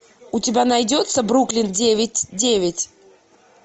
у тебя найдется бруклин девять девять